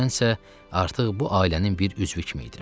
Mən isə artıq bu ailənin bir üzvü kimi idim.